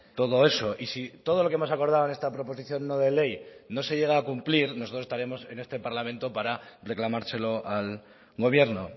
todo eso y si todo lo que hemos acordado en esta proposición no de ley no se llega a cumplir nosotros estaremos en este parlamento para reclamárselo al gobierno